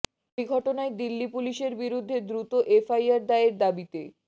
ওই ঘটনায় দিল্লি পুলিশের বিরুদ্ধে দ্রুত এফআইআর দায়ের দাবিতে